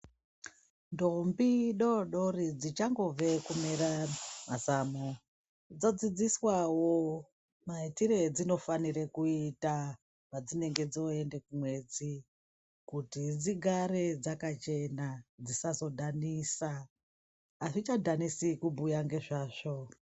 Ndombi doodori dzichangobve kumera mazamu dzodzidziswawo maitire edzinofanire kuita padzinenge dzooende kumwedzi kuti dzigare dzakachena, dzisazodhanisa. Hazvichadhanisi kubhuya ngezvazvo.